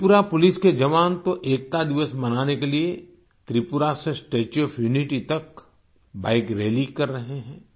Tripura police के जवान तो एकता दिवस मनाने के लिए त्रिपुरा से स्टेच्यू ओएफ यूनिटी तक बाइक रैली कर रहे हैं